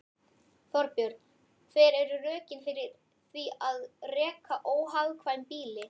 Þorbjörn: Hver eru rökin fyrir því að reka óhagkvæm býli?